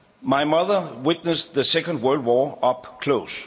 My mother witnessed the Second World War up close.